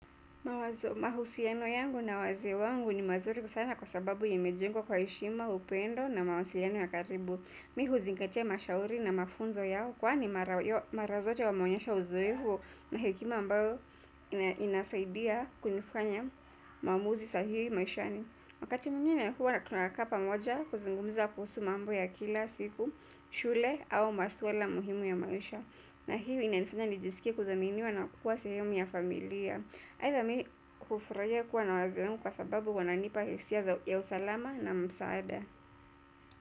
Mahusiano yangu na wazee wangu ni mazuri sana kwa sababu imejengwa kwa heshima, upendo na mawasiliano ya karibu. Mimi huzingatia mashauri na mafunzo yao kwani mara zote wameonyesha uzoefu na hekima ambayo inasaidia kunifanya maamuzi sahihi maishani. Wakati mwingine huwa na tunakaa pamoja kuzungumiza kuhusu mambo ya kila siku, shule au maswala muhimu ya maisha. Na hiyo inanifanya nijisikie kuthaminiwa na kuwa sehemu ya familia. Aitha mimi hufurahia kuwa na wazee wangu kwa sababu huwa wananipa hisia za usalama na msaada.